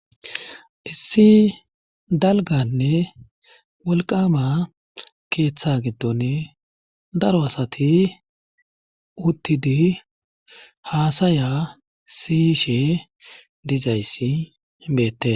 issi dalganne wolqama keeththa giddone daro asati uttidi haasaya siyishe dizayssi beette